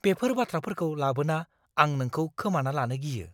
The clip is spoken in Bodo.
बेफोर बाथ्राफोरखौ लाबोना आं नोंखौ खोमाना लानो गियो।